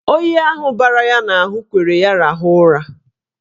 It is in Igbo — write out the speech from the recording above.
Oyi ahụ bara ya n'ahụ kwere ya rahụọ ụra.